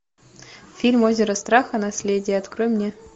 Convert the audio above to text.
фильм озеро страха наследие открой мне